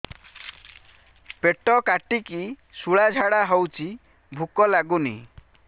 ପେଟ କାଟିକି ଶୂଳା ଝାଡ଼ା ହଉଚି ଭୁକ ଲାଗୁନି